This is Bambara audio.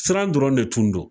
Siran dɔrɔn de tun don